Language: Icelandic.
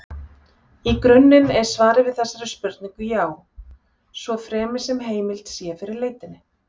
Í grunninn er svarið við þessari spurningu já, svo fremi sem heimild sé fyrir leitinni.